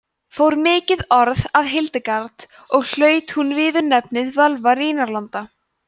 fór mikið orð af hildegard og hlaut hún viðurnefnið völva rínarlanda